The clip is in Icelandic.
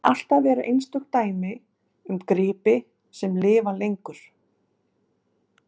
En alltaf eru einstök dæmi um gripi sem lifa lengur.